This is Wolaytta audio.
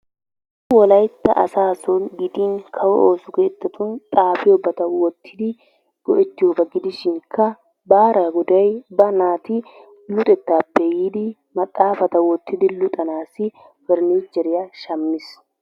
Wolaytta asaa soon gidin kawo ooso keettatun xaafiyooba oottidi go"ettiyooba gidishinkka baaraa goday ba naati luxxetappe yiidi maxafaata wottidi luxxanassi perenecheriyaa shaammiis.